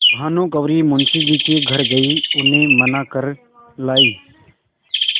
भानुकुँवरि मुंशी जी के घर गयी उन्हें मना कर लायीं